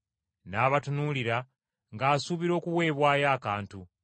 N’abatunuulira ng’asuubira okuweebwayo akantu.